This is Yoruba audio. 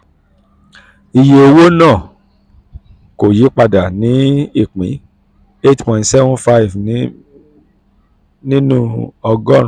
iye owó ìnáwó náà kò yí padà sí ìpín eight point seven five nínú ọgọ́rùn-ún.